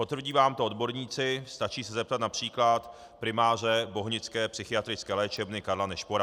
Potvrdí vám to odborníci, stačí se zeptat například primáře Bohnické psychiatrické léčebny Karla Nešpora.